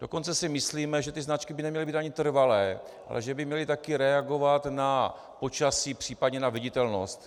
Dokonce si myslíme, že ty značky by neměly být ani trvalé, ale že by měly také reagovat na počasí, případně na viditelnost.